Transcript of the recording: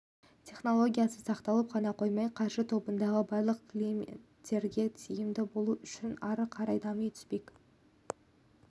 технологиясы сақталып қана қоймай қаржы тобындағы барлық клиенттерге тиімді болуы үшін ары қарай дами түспек